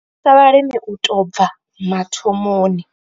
Ri thusa vhalimi u tou bva mathomoni.